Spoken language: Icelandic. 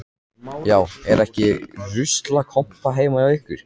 Já, er ekki ruslakompa heima hjá ykkur.